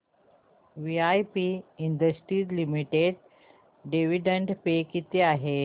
VIP industries limited dividend pay किती आहे